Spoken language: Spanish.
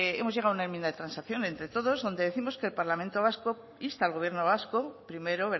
hemos llegado a una enmienda de transacción entre todos donde décimos que el parlamento vasco insta al gobierno vasco primero